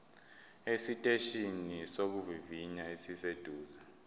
esiteshini sokuvivinya esiseduze